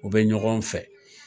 U bɛ ɲɔgɔn fɛ